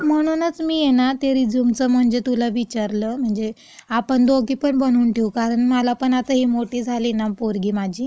म्हणूनच मी आहे ना, ते रेझ्यूमचं म्हणजे तूला विचारलं.म्हणजे आपण दोघी पण बनवून ठेवू, कारण मला पण आता ही मोठी झाली ना पोरगी माझी..